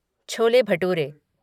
chole bhature